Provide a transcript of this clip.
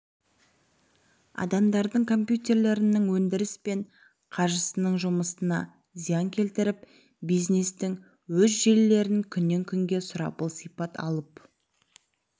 адамдардың компьютерлерінің өндіріс пен қаржысыныңжұмысына зиян келтіріп бизнестің өз желілерін күнен күнге сұрапыл сипат алып